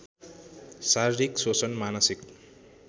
शारीरिक शोषण मानसिक